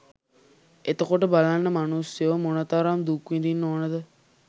එතකොට බලන්න මනුස්සයෝ මොනතරම් දුක් විඳින්න ඕනද?